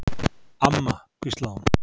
Amma, hvíslaði hún.